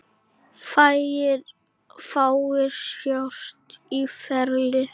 Fáir sjást á ferli.